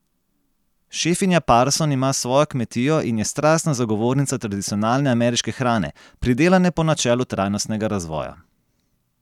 Šefinja Parson ima svojo kmetijo in je strastna zagovornica tradicionalne ameriške hrane, pridelane po načelu trajnostnega razvoja.